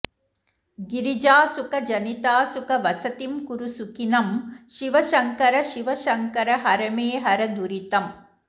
गिरिजासुख जनितासुख वसतिं कुरु सुखिनं शिवशङ्कर शिवशङ्कर हर मे हर दुरितम्